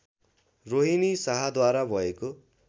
रोहिणी शाहद्वारा भएको